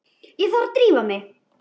Ég þurfti að drífa mig.